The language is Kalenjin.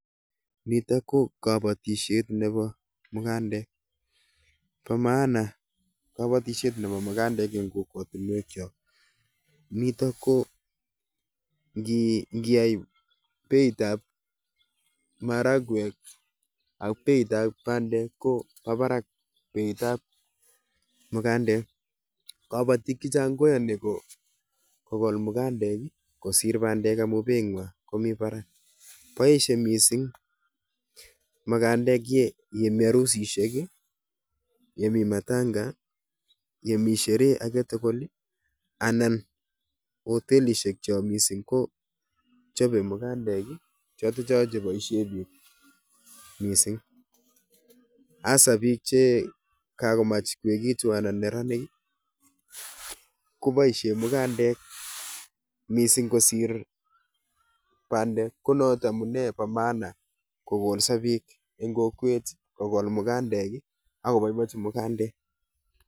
Nitok ko kabatishet nebo mugandek. Bo maana kabatishet nebo mugandek eng' kokwotunwek chok. Nitok ko um ngiyai beitab maragwek ak beitab bandek, kobo barak beitab mugandek. Kabatik chechang' koyani ko kogol mugandek kosir bandek amu beit ng'waa komi barak. Boisie mising mugandek ye yemii arusishek, yemi matanga, yemii sherehe age tugul, anan hotelishek cho missing kochope mugandek. Chotocho che boisie biik missing. Hasa biik che kakomach koekitu anan neranik, koboisie mugandek missing kosir bandek. Ko not amunee bo maana kogolso biik eng kokwet kogol mugandek, akoboibochi mugandek